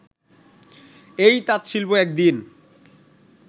এই তাঁতশিল্প একদিন